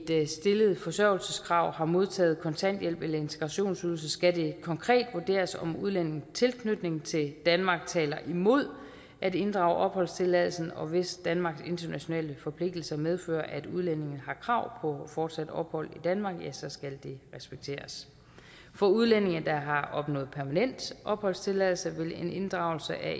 et stillet forsørgelseskrav har modtaget kontanthjælp eller integrationsydelse skal det konkret vurderes om udlændingens tilknytning til danmark taler imod at inddrage opholdstilladelsen og hvis danmarks internationale forpligtelser medfører at udlændingen har krav på fortsat ophold i danmark ja så skal det respekteres for udlændinge der har opnået permanent opholdstilladelse vil en inddragelse af